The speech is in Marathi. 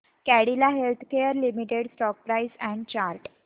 Cadila healthcare limited stock price and chart